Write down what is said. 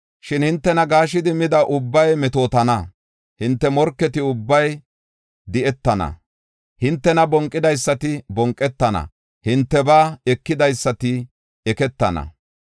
“Shin hintena gaashidi mida ubbay meetetana; hinte morketi ubbay di7etana. Hintena bonqidaysati bonqetana; hintebaa ekidaysati eketana.